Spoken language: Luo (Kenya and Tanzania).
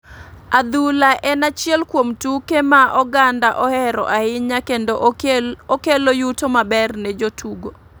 Adhula en achiel kuom tuke ma oganda ohero ahinya kendo okelo yuto maber ne jotugo.